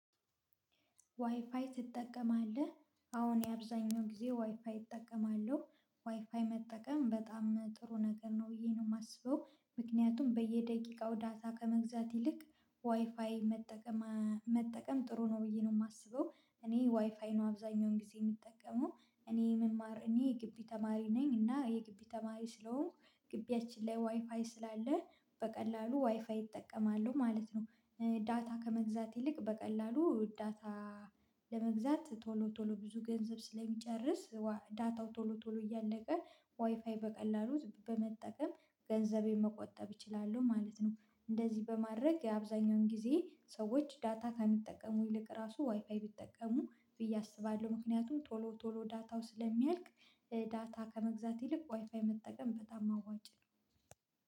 ዋይፋይ ትጠቀማለህ አዎ እኔ የአብዛኛው ጊዜ ዋይፋይ እጠቀማለሁ ዋይፋይ መጠቀም በጣም ጥሩ ነገር ነው ብዬ ነው የማስበው። ምክንያቱም በየደቂቃው ዳታ ከመግዛት ይልቅ ዋይፋይ መጠቀም መጠቀም ጥሩ ነው ብዬ ነው የማስበው። እኔ ዋይፋይ ነው አብዛኛውን ጊዜ የምጠቀመው እኔ መማር እኔ ግቢ ተማሪ ነኝ እና የግቢ ተማሪ ስለሆንኩ ግቢያችን ላይ ዋይፋይ ስላለ በቀላሉ ዋይፋይ እጠቀማለሁ ማለት ነው። ዳታ ከመግዛት ይልቅ በቀላሉ ዳታ ለመግዛት ቶሎ ቶሎ ብዙ ገንዘብ ስለሚጨርስ ዳታው ቶሎ ቶሎ እያለቀ ዋይፋይ በቀላሉ በመጠቀም ገንዘቤን መቆጠብ እችላሉ ማለት ነው። እንደዚህ በማድረግ አብዛኛውን ጊዜ ሰዎች ዳታ ከሚጠቀሙ ይልቅ ራሱ ዋይፋይ ቢጠቀሙ ብዬ አስባለሁ ምክንያቱም ቶሎ ቶሎ ዳታው ስለሚያልቅ። ዳታ ከመግዛት ይልቅ ዋይፋይ መጠቀም በጣም አዋጭ ነው።